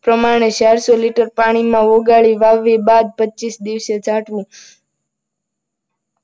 પ્રમાણે ચારસો લીટર પાણીમાં ઓગાળી, વાવણી બાદ પચીસ દિવસે છાંટવું.